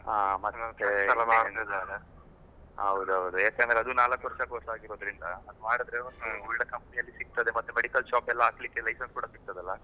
ಹಾ ಮತ್ತೆ . ಹೌದೌದು, ಏಕೆಂದ್ರೆ ಅದು ನಾಲ್ಕ್ ವರ್ಷ course ಆಗಿರೋದ್ರಿಂದ ಮಾಡಿದ್ರೆ ಒಳ್ಳೆ company ಯಲ್ ಎಲ್ಲಾ ಸಿಗ್ತದೆ medical shop ಹಾಕ್ಲಿಕ್ಕೆ license ಕೂಡ ಸಿಕ್ತದಲ್ಲ.